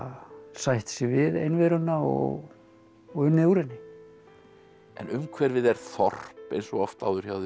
sætt sig við einveruna og unnið úr henni en umhverfið er þorp eins og oft áður hjá þér